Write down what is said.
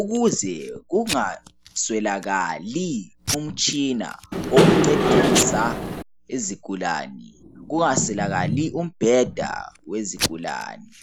ukuze kungaswelakali umtshina wokuncedisa izigulani kungaswelakali umbheda wezigulani.